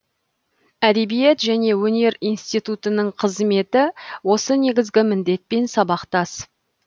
әдебиет және өнер институтының қызметі осы негізгі міндетпен сабақтас